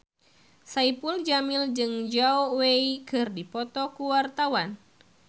Saipul Jamil jeung Zhao Wei keur dipoto ku wartawan